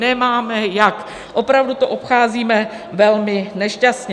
Nemáme jak, opravdu to obcházíme velmi nešťastně.